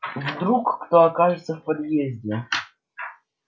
вдруг кто окажется в подъезде